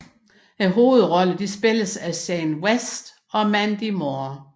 Hovedrollerne spilles af Shane West og Mandy Moore